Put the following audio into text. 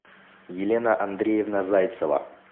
елена андреевна зайцева